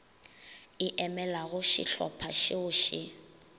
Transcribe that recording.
e emelago šehlopha šeo še